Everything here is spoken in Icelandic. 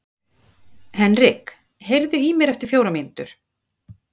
Henrik, heyrðu í mér eftir fjórar mínútur.